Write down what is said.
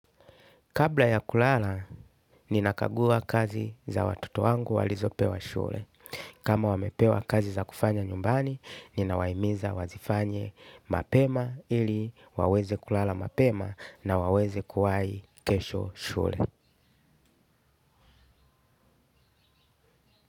Kabla ya kulala, ninakagua kazi za watoto wangu walizopewa shule. Kama wamepewa kazi za kufanya nyumbani, ninawaimiza wazifanye mapema ili waweze kulala mapema na waweze kuwai kesho shule.